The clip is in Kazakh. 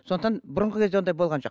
сондықтан бұрынғы кезде ондай болған жоқ